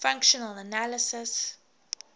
functional analysis